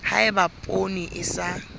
ha eba poone e sa